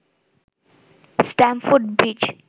Stamford bridge